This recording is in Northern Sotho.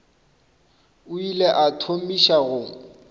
o ile a thomiša go